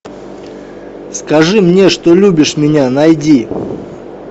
скажи мне что любишь меня найди